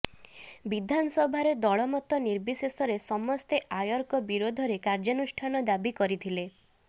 ବିଧାନସଭାରେ ଦଳମତ ନିର୍ବିଶେଷରେ ସମସ୍ତେ ଆୟରଙ୍କ ବିରୋଧରେ କାର୍ଯ୍ୟାନୁଷ୍ଠାନ ଦାବି କରିଥିଲେ